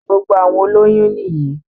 Gbogbo àwọn olóyún nìyí